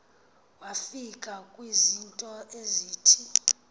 wafika kwizinto ezithi